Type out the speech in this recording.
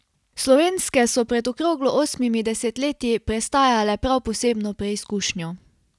Slovenske so pred okroglo osmimi desetletji prestajale prav posebno preizkušnjo.